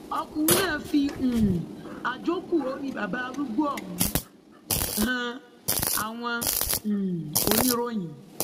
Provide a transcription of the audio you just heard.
ọkùnrin náà fi um àjókù orí bàbá arúgbó ọhún han àwọn um oníròyìn